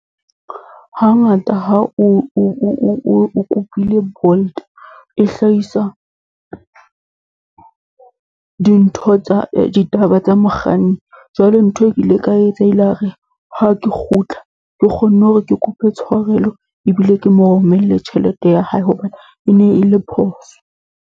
Hangata ha o kopile Bolt, e hlahisa dintho tsa, ditaba tsa mokganni. Jwale ntho e ke ile ka etsa, e la re ha ke kgutla ke kgonne hore ke kope tshwarelo, ebile ke mo romelle tjhelete ya hae hobane e ne e le phoso.